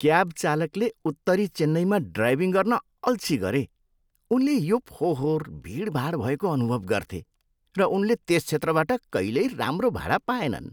Cab चालकले उत्तरी चेन्नईमा ड्राइभिङ गर्न अल्छि गरे। उनले यो फोहोर, भिडभाड भएको अनुभव गर्थे, र उनले त्यस क्षेत्रबाट कहिल्यै राम्रो भाडा पाएनन्।